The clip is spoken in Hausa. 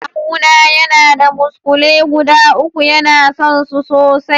Kawu na yana da muskule guda uku, ya na son su sosai.